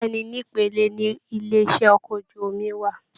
Bẹ̀ẹ́ni, n'ipele ní ilé iṣẹ okọ̀ ojú omi wà.